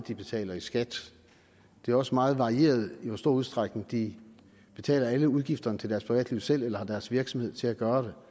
de betaler i skat det er også meget varieret i hvor stor udstrækning de betaler alle udgifterne til deres privatliv selv eller har deres virksomhed til at gøre